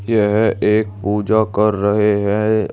यह एक पूजा कर रहे हैं।